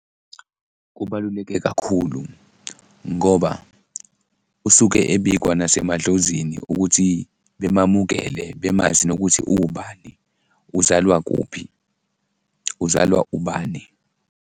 Kubaluleke kakhulu ngoba usuke ebikwa nasemadlozini ukuthi bemamukele, bemazi nokuthi uwubani? Uzalwa kuphi? Uzalwa ubani?